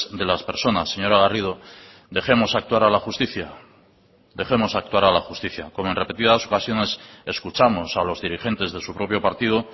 de las personas señora garrido dejemos actuar a la justicia dejemos actuar a la justicia como en repetidas ocasiones escuchamos a los dirigentes de su propio partido